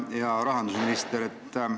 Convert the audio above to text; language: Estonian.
Hea rahandusminister!